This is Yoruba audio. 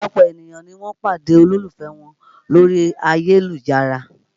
Ọ̀pọ̀lọpọ̀ ènìyàn ni wọ́n pàdé olólùfẹ́ wọn lórí ayélujára